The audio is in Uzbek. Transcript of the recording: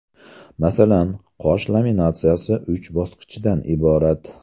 Masalan, qosh laminatsiyasi uch bosqichdan iborat.